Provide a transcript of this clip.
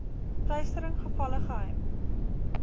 teistering gevalle geheim